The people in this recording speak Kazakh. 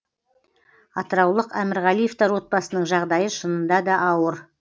атыраулық әмірғалиевтар отбасының жағдайы шынында да ауыр